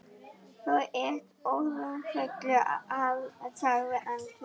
Þú ert orðinn fullur, sagði Andri.